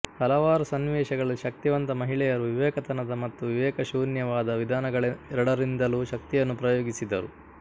ಹಲವಾರು ಸನ್ನಿವೇಶಗಳಲ್ಲಿ ಶಕ್ತಿವಂತ ಮಹಿಳೆಯರು ವಿವೇಕತನದ ಮತ್ತು ವಿವೇಕಶೂನ್ಯವಾದ ವಿಧಾನಗಳೆರಡರಿಂದಲೂ ಶಕ್ತಿಯನ್ನು ಪ್ರಯೋಗಿಸಿದರು